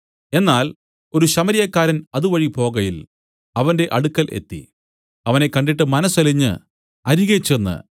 എന്നാൽ ഒരു ശമര്യക്കാരൻ അതുവഴി പോകയിൽ അവന്റെ അടുക്കൽ എത്തി അവനെ കണ്ടിട്ട് മനസ്സലിഞ്ഞ് അരികെ ചെന്ന്